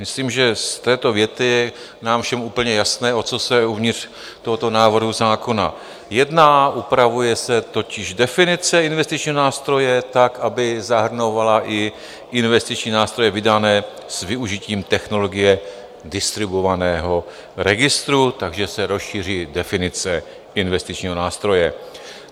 Myslím, že z této věty je nám všem úplně jasné, o co se uvnitř tohoto návrhu zákona jedná, upravuje se totiž definice investičního nástroje tak, aby zahrnovala i investiční nástroje vydané s využitím technologie distribuovaného registru, takže se rozšíří definice investičního nástroje.